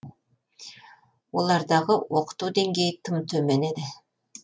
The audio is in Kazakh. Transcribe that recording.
олардағы оқыту деңгейі тым төмен еді